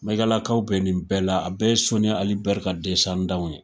Maigalakaw bɛ nin bɛɛ la, a bɛɛ ye Soni Ali Ber ka w ye.